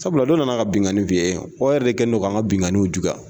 Sabula do nana ka bingani fi yen, o yɛrɛ de kɛ ne do kan ka binganiw juguya.